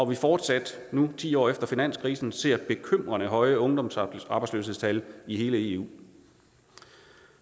vi fortsat nu ti år efter finanskrisen ser bekymrende høje ungdomsarbejdsløshedstal i hele eu